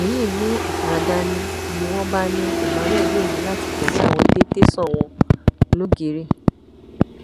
èyí mú ìfura dání ni ni wọn bá ní emmanuel yóò ní láti tẹlé àwọn dé tẹsán àwọn lọgẹrẹ